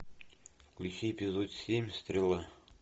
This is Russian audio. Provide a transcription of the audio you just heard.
включи эпизод семь стрела